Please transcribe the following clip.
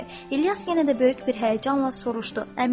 İlyas yenə də böyük bir həyəcanla soruşdu.